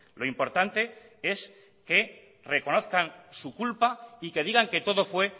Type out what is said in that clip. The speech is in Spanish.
lo importante es que reconozcan su culpa y que digan que todo fue